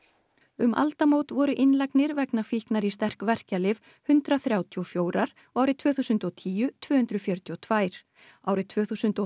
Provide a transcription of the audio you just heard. um aldamót voru innlagnir vegna fíknar í sterk verkjalyf hundrað þrjátíu og fjórar og árið tvö þúsund og tíu tvö hundruð fjörutíu og tvær árið tvö þúsund og